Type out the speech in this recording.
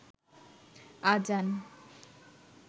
আযান